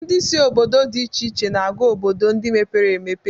Ndị si obodo dị iche iche na-aga obodo ndị mepere emepe